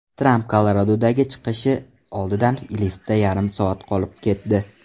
Tramp Koloradodagi chiqishi oldidan liftda yarim soat qolib ketdi.